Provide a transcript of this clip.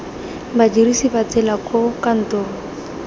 badirisi ba tsela koo kantoro